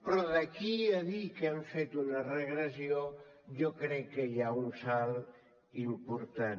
però d’aquí a dir que hem fet una regressió jo crec que hi ha un salt important